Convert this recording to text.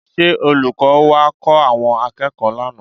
Ṣé olùkọ́ wá kọ́ àwọn akẹ́kọ̀ọ́ lánàá?